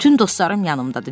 Bütün dostlarım yanımdadır.